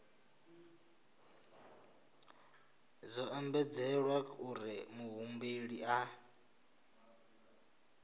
zwo ombedzelwa uri muhumbeli a